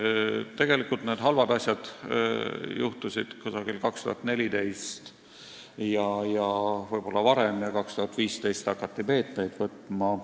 Tegelikult need halvad asjad juhtusid juba umbes aastal 2014, võib-olla varemgi, ja 2015 hakati meetmeid tarvitusele võtma.